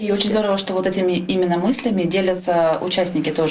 очень здорово что вот этими именно мыслями делятся участники тоже